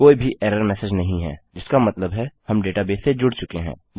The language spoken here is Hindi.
कोई भी एरर मेसेज नहीं है जिसका मतलब है हम डेटाबेस से जुड़ चुके हैं